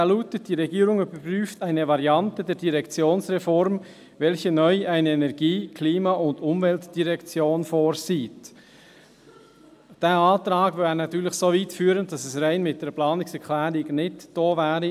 Dieser lautet: «Die Regierung überprüft eine Variante der Direktionsreform, welche neu eine Energie-, Klima- und Umweltdirektion vorsieht.» Dieser Antrag würde natürlich so weit führen, dass es alleine mit einer Planungserklärung nicht getan wäre.